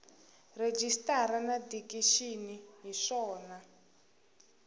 rejistara na dikixini hi swona